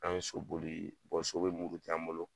An ye so boli so bɛ muruti an bolo